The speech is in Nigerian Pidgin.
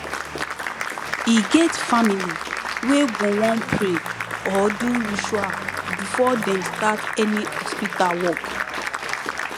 e get family wey go wan pray or do ritual before dem start any hospital work